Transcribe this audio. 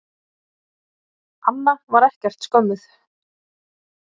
Anna var ekkert skömmuð.